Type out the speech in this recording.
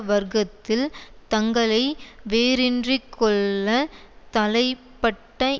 வர்க்கத்தில் தங்களை வேரின்றிக் கொள்ள தலைப்பட்ட